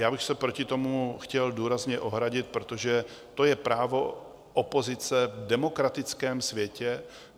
Já bych se proti tomu chtěl důrazně ohradit, protože to je právo opozice v demokratickém světě.